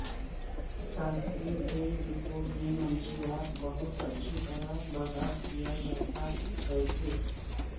صارفین کی رپورٹ میں منشیات بہت اچھی طرح برداشت کیا جاتا ہے کہ